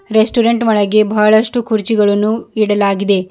Restaurant ಒಳಗೆ ಬಹಳಷ್ಟು ಕುರ್ಚಿಗಳನ್ನು ಇಡಲಾಗಿದೆ.